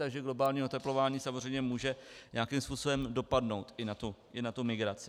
Takže globální oteplování samozřejmě může nějakým způsobem dopadnout i na tu migraci.